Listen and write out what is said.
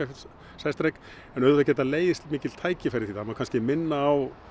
sæstreng en auðvitað geta legið mikil tækifæri í því og það má kannski minna á